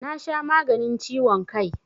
Na sha maganin ciwon kai